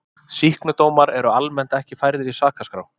sýknudómar eru almennt ekki færðir í sakaskrá